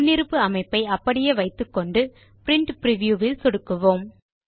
முன்னிருப்பு அமைப்பை அப்படியே வைத்துக்கொண்டு பிரின்ட் பிரிவ்யூ இல் சொடுக்குவோம்